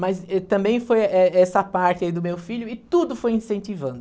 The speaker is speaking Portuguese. Mas, êh, também foi eh essa parte aí do meu filho, e tudo foi incentivando.